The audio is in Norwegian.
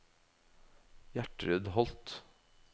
Gjertrud Holth